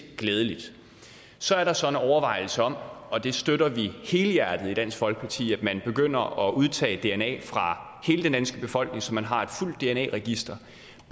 glædeligt så er der så en overvejelse om og det støtter vi helhjertet i dansk folkeparti at man begynder at udtage dna fra hele den danske befolkning som man har et fuldt dna register